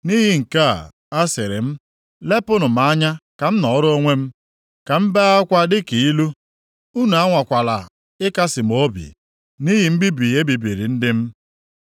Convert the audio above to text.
Nʼihi nke a, asịrị m, “Lepụnụ m anya ka m nọọrọ onwe m; ka m bee akwa dị ilu. Unu anwakwala ịkasị m obi, nʼihi mbibi e bibiri ndị m.”